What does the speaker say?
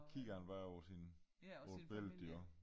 Kigger han bare over sin hvor billedet de er